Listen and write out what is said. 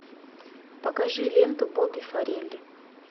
покажи ленту бобби фарелли